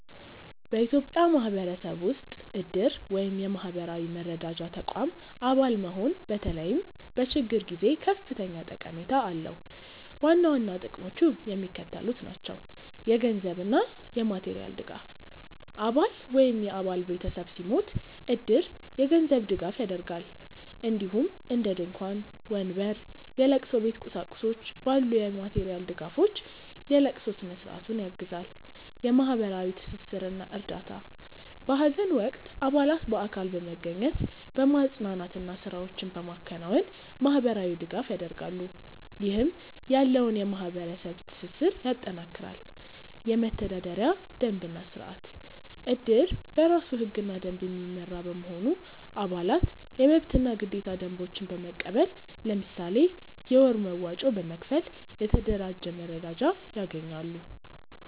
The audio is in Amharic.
በኢትዮጵያ ማህበረሰብ ውስጥ እድር (የማህበራዊ መረዳጃ ተቋም) አባል መሆን በተለይም በችግር ጊዜ ከፍተኛ ጠቀሜታ አለው። ዋና ዋና ጥቅሞቹ የሚከተሉት ናቸው - የገንዘብ እና የማቴሪያል ድጋፍ: አባል ወይም የአባል ቤተሰብ ሲሞት እድር የገንዘብ ድጋፍ ያደርጋል፣ እንዲሁም እንደ ድንኳን፣ ወንበር፣ የለቅሶ ቤት ቁሳቁሶች ባሉ የማቴሪያል ድጋፎች የለቅሶ ስነ-ስርዓቱን ያግዛል። የማህበራዊ ትስስር እና እርዳታ: በሀዘን ወቅት አባላት በአካል በመገኘት፣ በማፅናናት እና ስራዎችን በማከናወን ማህበራዊ ድጋፍ ያደርጋሉ፣ ይህም ያለውን የማህበረሰብ ትስስር ያጠናክራል። የመተዳደሪያ ደንብ እና ስርአት: እድር በራሱ ህግና ደንብ የሚመራ በመሆኑ፣ አባላት የመብትና ግዴታ ደንቦችን በመቀበል፣ ለምሳሌ የወር መዋጮ በመክፈል፣ የተደራጀ መረዳጃ ያገኛሉ።